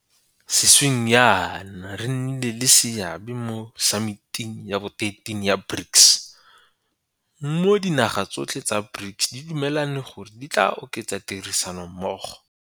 Sešweng jaana re nnile le seabe mo Samiting ya bo 13 ya BRICS, mo dinaga tsotlhe tsa BRICS di dumelaneng gore di tla oketsa tirisanommogo.